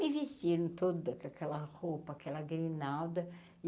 Me vestiram toda aquela roupa, aquela grinalda e.